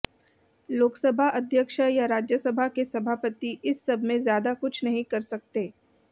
लोकसभा अध्यक्ष या राज्यसभा के सभापति इस सबमें ज़्यादा कुछ नहीं कर सकते